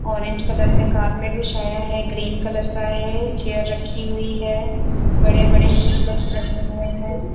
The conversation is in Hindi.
ऑरेंज कलर मे कार्पेट बिछाया है ग्रीन कलर का है चेयर रखी हुई है बड़े बड़े स्टिकर्स लगे हुए है।